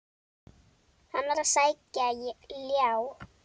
Hann var að sækja ljá.